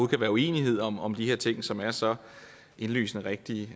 kan være uenighed om om de her ting som er så indlysende rigtige